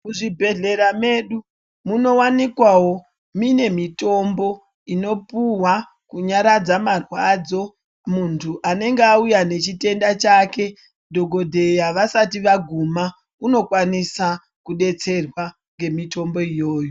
Muzvibhedhleya medu munowanikwawo mune mitombo inopuhwa kunyaradza marwadzo muntu anenge auya nechitenda chake dhokodheya vasati vaguma unokwanisa kudetserwa ngemitombo iyoyo.